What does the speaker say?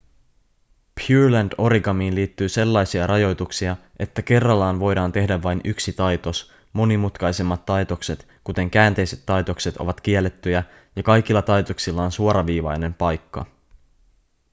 pureland-origamiin liittyy sellaisia rajoituksia että kerrallaan voidaan tehdä vain yksi taitos monimutkaisemmat taitokset kuten käänteiset taitokset ovat kiellettyjä ja kaikilla taitoksilla on suoraviivainen paikka